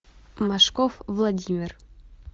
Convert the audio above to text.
машков владимир